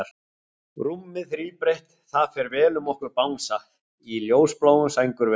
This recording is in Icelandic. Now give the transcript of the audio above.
Rúmið þríbreitt, það fer vel um okkur Bangsa, í ljósbláum sængurverum.